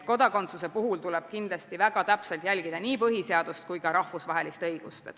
Kodakondsuse puhul tuleb kindlasti väga täpselt järgida nii põhiseadust kui ka rahvusvahelist õigust.